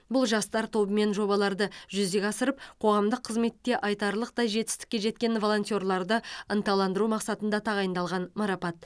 бұл жастар тобымен жобаларды жүзеге асырып қоғамдық қызметте айтарлық жетістікке жеткен волонтерларды ынталандыру мақсатында тағайындалған марапат